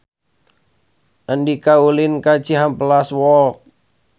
Andika ulin ka Cihampelas Walk